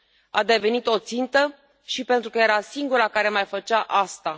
A devenit o țintă și pentru că era singura care mai făcea asta.